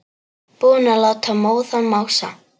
Búinn að láta móðan mása.